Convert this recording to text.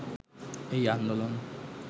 এই আন্দোলন